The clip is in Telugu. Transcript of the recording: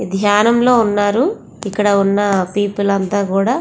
ఇది ఙ్నానం లో ఉన్నారు ఇక్కడ ఉన్న పీపుల్ అంతా కూడా --